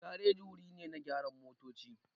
Gareji wuri ne na gyaran motoci.